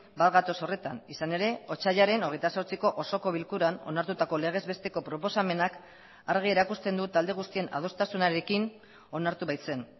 bat gatoz horretan izan ere otsailaren hogeita zortziko osoko bilkuran onartutako legez besteko proposamenak argi erakusten du talde guztien adostasunarekin onartu baitzen